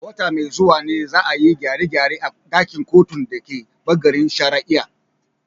A wata mai zuwa ne, za a yi gyare-gyare a ɗakin kotun da ke bangaren shari’a.